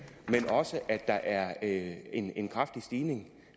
men også at der er en en kraftig stigning